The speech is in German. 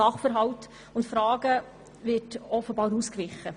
Sachverhalten und Fragen wird offenbar ausgewichen.